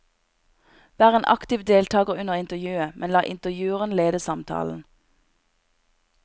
Vær en aktiv deltager under intervjuet, men la intervjueren lede samtalen.